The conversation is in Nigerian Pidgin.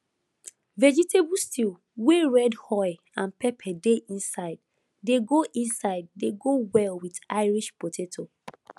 vegetable stew wey red oil and pepper dey inside dey go inside dey go well with irish potato